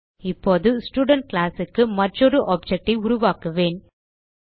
இப்போது ஸ்டூடென்ட் classக்கு மற்றொரு ஆப்ஜெக்ட் ஐ உருவாக்குவேன்